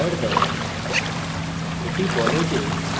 compiler একটি error দেয়